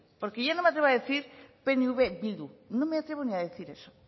porque yo no me atrevo a decir pnv bildu no me atrevo ni a decir eso